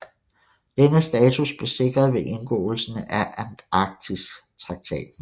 Denne status blev sikret ved indgåelsen af Antarktistraktaten